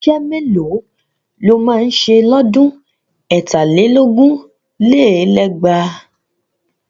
Iṣẹ́ mélòó lo máa ṣe lọ́dún ẹ̀tà lé lógún lé lẹ́gbàá?